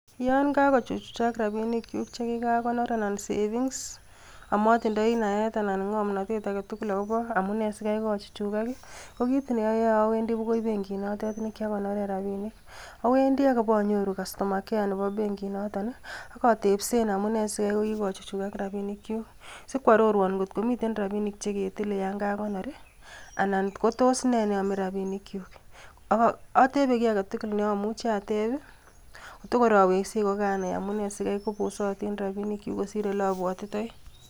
Yon kakochuchukan rabinikyuk chekikanoor, anan savings amotindoi naet, anan ng'omnotet agetul akobo amune sikaikochuchukag, ko kit neoyoe awendii bookoi benkit notet nekiakonooren, rabink. Awendii ak abonyooru kastoma kea nebo benkinotet, ak atebseen amune sikai kokikochuchukag rabinikyuk. Sikokwororuon angot komiten rabinik cheketile yon kakonoor i,anan kotos nee neyome rabinikyuk. Atebe kiy agetugul neomuchi ateeb kotogoor akweksei ko karanai amine sikaikobosootin rabinikyuk kosir oleabwotitoi.